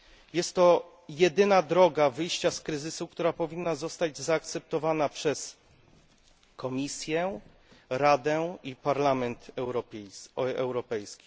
Jest to jedyna droga wyjścia z kryzysu, która powinna zostać zaakceptowana przez Komisję, Radę i Parlament Europejski.